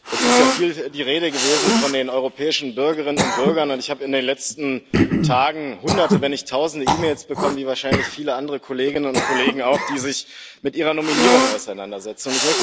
Es ist ja viel die Rede gewesen von den europäischen Bürgerinnen und Bürgern, und ich habe in den letzten Tagen Hunderte, wenn nicht Tausende E Mails bekommen, wie wahrscheinlich viele andere Kolleginnen und Kollegen auch, die sich mit Ihrer Nominierung auseinandersetzen.